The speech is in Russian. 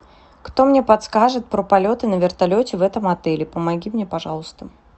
кто мне подскажет про полеты на вертолете в этом отеле помоги мне пожалуйста